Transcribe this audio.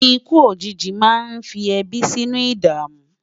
ikú òjìji má ní fí ebi sínú idamu